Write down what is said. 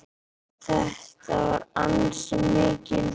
Þetta var ansi mikil törn.